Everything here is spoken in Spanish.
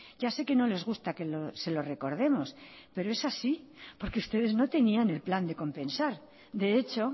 ya sé que no les gusta que se lo recordemos pero es así porque ustedes no tenían el plan de compensar de hecho